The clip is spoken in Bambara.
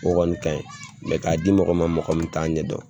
O kɔni ka ɲi mɛ k'a di mɔgɔ ma mɔgɔ min t'a ɲɛ dɔn.